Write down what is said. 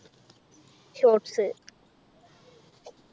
shorts